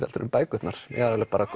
heldur en bækurnar ég